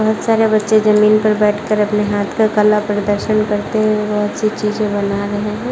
बहुत सारे बच्चे जमीन पर बैठकर अपने हाथ का कला प्रदर्शन करते हुए बहुत सी चीजें बना रहे है।